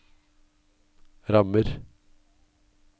rammer